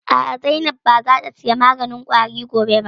A'a, Zainab ba za ta saya maganin ƙwari gobe ba